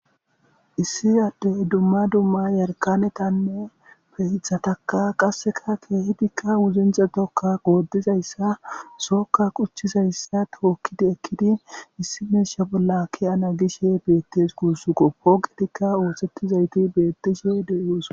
issi addey dumma dumma yarqanetanne fe ithataka qasseka keehidikka wuzince tokka goodizayssa sookka quchchizayssa tookkidi ekkidi issi meisha bolla ke ana gishe beettes kuussuko pooqetikka oosettizayti beettishe deyoos